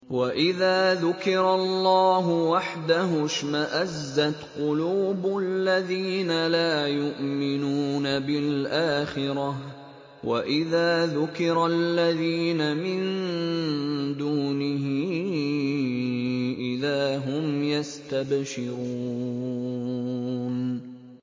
وَإِذَا ذُكِرَ اللَّهُ وَحْدَهُ اشْمَأَزَّتْ قُلُوبُ الَّذِينَ لَا يُؤْمِنُونَ بِالْآخِرَةِ ۖ وَإِذَا ذُكِرَ الَّذِينَ مِن دُونِهِ إِذَا هُمْ يَسْتَبْشِرُونَ